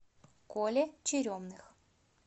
коле черемных